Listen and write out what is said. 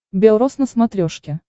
бел роз на смотрешке